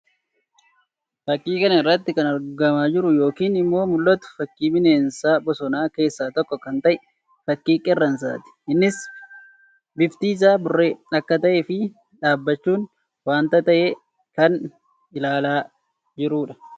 Fakkii kana irratti kan argamaa jiruu yookiin immoo mullatu fakkii bineensa bosonaa keessaa tokko kan ta'e; fakkii qeerramsaa ti. Innis bifti isaa burree akka tahee fi dhaabbachuun wanta tahe kan ilaalaa jiruu dha.